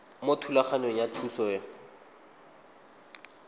mo thulaganyong ya thuso y